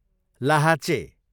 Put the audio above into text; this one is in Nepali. लाहाचे